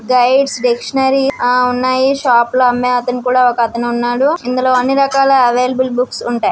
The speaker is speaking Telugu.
గైడ్స్ డిక్షనరీ ఆ ఉన్నాయి. షాప్ లో అమ్మే అతను కూడా ఒకతనున్నాడు. ఇందులో అన్ని రకాల అవైలబుల్ బుక్స్ ఉంటాయి.